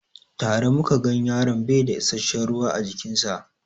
Tare muka gan yaron baida isashen ruwa a jikin sa